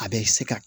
A bɛ se ka